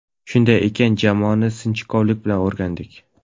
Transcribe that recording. Shunday ekan jamoani sinchkovlik bilan o‘rgandik.